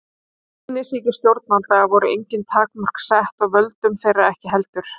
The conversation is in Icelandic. Vænisýki stjórnvalda voru engin takmörk sett og völdum þeirra ekki heldur.